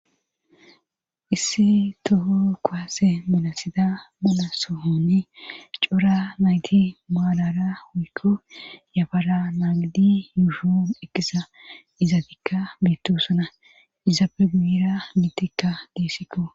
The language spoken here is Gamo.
issi toho kowase munasida bala sohoni cora nayti maalara huykko yafara naagidi yuushoun eqisa izaabikka biittosona izabe guira miitikka desikko